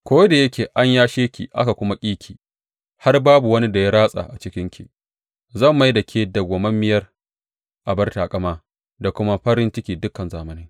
Ko da yake an yashe ki aka kuma ƙi ki, har babu wani da ya ratsa a cikinki, zan mai da ke madawwamiyar abar taƙama da kuma farin cikin dukan zamanai.